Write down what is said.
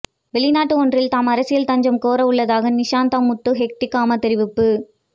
வெளிநாடு ஒன்றில் தாம் அரசியல் தஞ்சம் கோரவுள்ளதாக நிசாந்த முத்துஹெட்டிகம தெரிவிப்பு